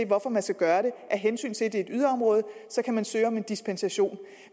hvorfor man skal gøre det af hensyn til at det er et yderområde så kan man søge om en dispensation